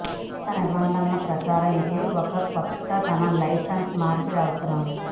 కొత్త నిబంధనల ప్రకారం ఇది ఒక కొత్త తన లైసెన్స్ మార్పిడి అవసరం